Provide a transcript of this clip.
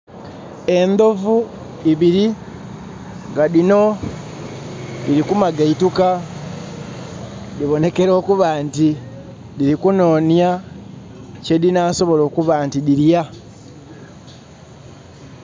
Ndovu ibiri nga dino diri kumagaituka. Dibonekera okuba nti diri kunonya kye dinasobola okuba nti dirya